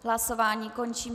Hlasování končím.